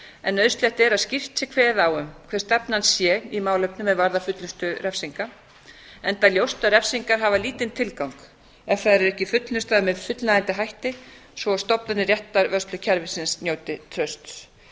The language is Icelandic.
en nauðsynlegt er að skýrt sé kveðið á um hver stefnan sé í málefnum er varðar fullnustu refsinga enda ljóst að refsingar hafa lítinn tilgang ef þær eru ekki fullnustaðar með fullnægjandi hætti svo að stofnanir réttarvörslukerfisins njóti trausts